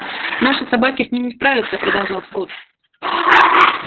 наши собаки с ним не справятся продолжал скотт